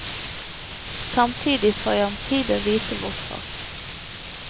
Samtidig får jeg omsider vite hvorfor.